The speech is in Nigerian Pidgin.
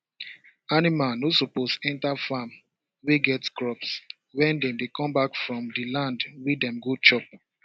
animal no suppose enter farm wey get crops when dem dey come back from the land wey dem go chop